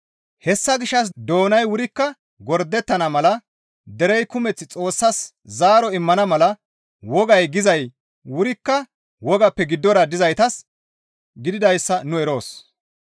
Hessa gishshas doonay wurikka gordettana mala derey kumeth Xoossas zaaro immana mala wogay gizay wurikka wogappe giddora dizaytas gididayssa nu eroos.